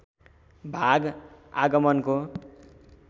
भाग आगमको